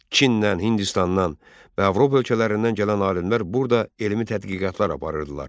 Çindən, Hindistandan və Avropa ölkələrindən gələn alimlər burda elmi tədqiqatlar aparırdılar.